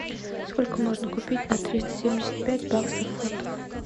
сколько можно купить на триста семьдесят пять баксов фунтов